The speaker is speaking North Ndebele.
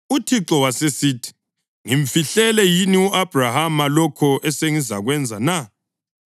UThixo wasesithi, “Ngimfihlele yini u-Abhrahama lokho esengizakwenza na?